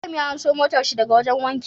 Ibrahim ya anso motar shi daka wajan wanki